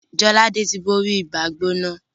Jolade tí bóri Ibàá-gbóná